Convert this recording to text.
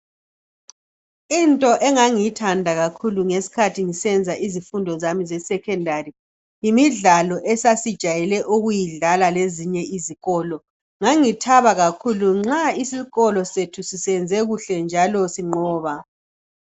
Into engangiyithanda kakhulu ngesikhathi ngisenza isifundo zami zeSekhondari yimidlalo esasijayele ukuyidlala lezinye izikolo. Ngangithaba kakhulu nxa isikolo sethu sisenze kuhle njalo sinqoba.